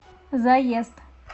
заезд